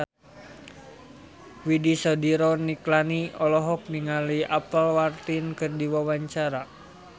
Widy Soediro Nichlany olohok ningali Apple Martin keur diwawancara